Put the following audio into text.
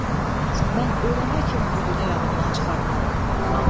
Mən ölənə kimi bu günü yadımdan çıxarmaram.